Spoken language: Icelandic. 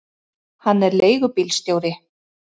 Hann er leigubílstjóri.